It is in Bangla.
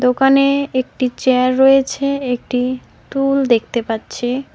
দোকানে একটি চেয়ার রয়েছে একটি টুল দেখতে পাচ্ছি।